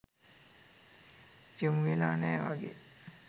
යොමුවෙලා නෑ වගේ.